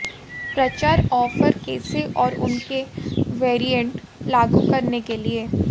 प्रचार ऑफ़र कैसे और उनके वेरिएंट लागू करने के लिए